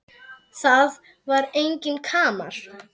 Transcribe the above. Það var enginn kamar.